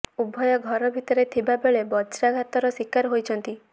ଉଭୟ ଘର ଭିତରେ ଥିବା ବେଳେ ବଜ୍ରାଘାତର ଶିକାର ହୋଇଛନ୍ତି